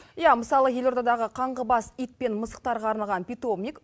иә мысалы елордадағы қаңғыбас ит пен мысықтарға арналған питомник